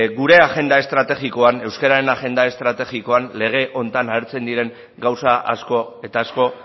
gure agenda estrategikoan euskararen agenda estrategikoan lege honetan agertzen diren gauza asko eta asko